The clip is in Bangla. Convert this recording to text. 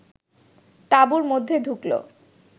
তাঁবুর মধ্যে ঢুকল